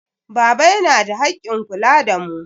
Baba yana da haƙƙin kula da mu.